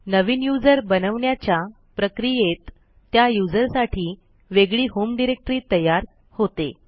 नवीन user बनवण्याच्या प्रक्रियेत त्या userसाठी वेगळी होम डिरेक्टरी तयार होते